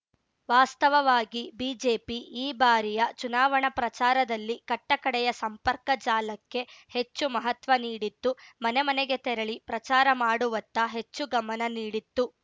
ವಾಸ್ತವವಾಗಿ ಬಿಜೆಪಿ ಈ ಬಾರಿಯ ಚುನಾವಣಾ ಪ್ರಚಾರದಲ್ಲಿ ಕಟ್ಟಕಡೆಯ ಸಂಪರ್ಕ ಜಾಲಕ್ಕೆ ಹೆಚ್ಚು ಮಹತ್ವ ನೀಡಿತ್ತು ಮನೆ ಮನೆಗೆ ತೆರಳಿ ಪ್ರಚಾರ ಮಾಡುವತ್ತ ಹೆಚ್ಚು ಗಮನ ನೀಡಿತ್ತು